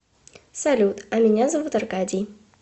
салют а меня зовут аркадий